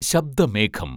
ശബ്ദ മേഘം